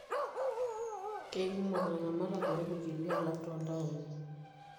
Keikumo ilaramatak toorpukeli alang toontaoni.